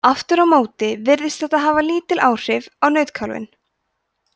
aftur á móti virðist þetta hafa lítil áhrif á nautkálfinn